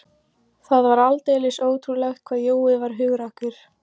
Það var aldeilis ótrúlegt hvað Jói var hugrakkur.